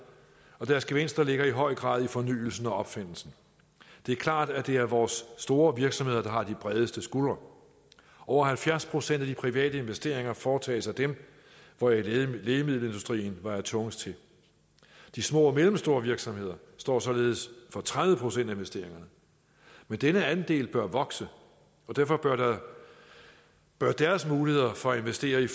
og deres gevinster ligger i høj grad i fornyelsen og opfindelsen det er klart at det er vores store virksomheder der har de bredeste skuldre over halvfjerds procent af de private investeringer foretages af dem hvoraf lægemiddelindustrien vejer tungest til de små og mellemstore virksomheder står således for tredive procent af investeringerne men denne andel bør vokse og derfor bør deres muligheder for at investere i